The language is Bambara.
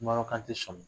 sɔmin